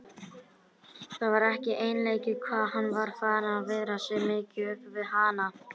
Það var ekki einleikið hvað hann var farinn að viðra sig mikið upp við hana.